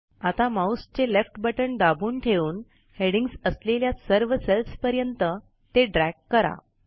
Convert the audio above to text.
आता माऊसचे left button दाबून ठेवून हेडिंग्ज असलेल्या सर्व सेल्सपर्यंत ते ड्रॅग करा